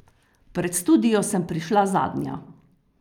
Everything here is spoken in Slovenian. Pred studio sem prišla zadnja.